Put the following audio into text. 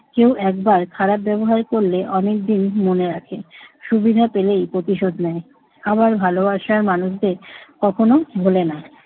কেউ একবার খারাপ ব্যবহার করলে অনেকদিন মনে রাখে। সুবিধা পেলেই প্রতিশোধ নেয়। আবার ভালবাসার মানুষদের কখনো ভুলে না।